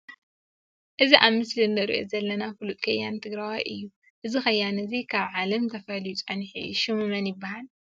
እዚ ኣብ ምስሊ እንሪኦ ዘለና ፉሉጥ ከያኒ ትግራዋይ እዩ። እዚ ከያን እዚ ካብ ዓለም ተፈልዩ ፀኒሑ እዩ። ሽሙ መን ይበሃል?